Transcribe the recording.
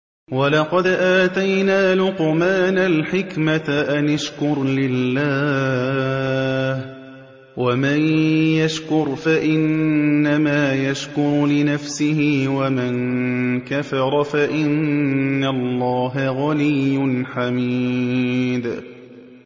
وَلَقَدْ آتَيْنَا لُقْمَانَ الْحِكْمَةَ أَنِ اشْكُرْ لِلَّهِ ۚ وَمَن يَشْكُرْ فَإِنَّمَا يَشْكُرُ لِنَفْسِهِ ۖ وَمَن كَفَرَ فَإِنَّ اللَّهَ غَنِيٌّ حَمِيدٌ